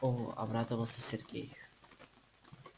о обрадовался сергей